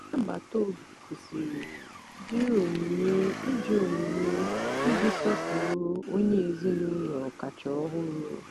ndị agbata obi kwụsịrị jiri onyinye iji onyinye iji sọpụrụ onye ezinaụlọ kacha ọhụrụ.